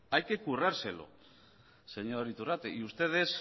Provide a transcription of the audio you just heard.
hay que currarselo señor iturrate y ustedes